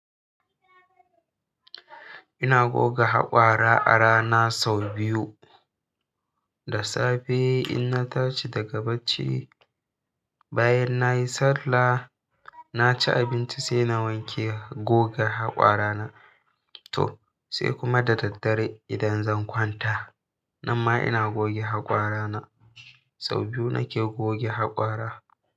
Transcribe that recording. Ina goga haƙora a rana sau biyu. Da safe in na tashi daga bacci, bayan nayi sallah, na ci abinci sai na wanke goga haƙora na. To sai kuma da daddare idan zan kwanta, nan ma ina goge haƙora na. Sau biyu nake goge haƙora.